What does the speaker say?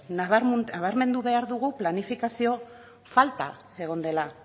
nabarmendu behar dugu planifikazio falta egon dela